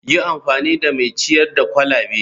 Yi amfani da mai ciyar da kwalabe.